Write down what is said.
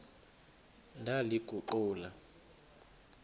ndaliguqula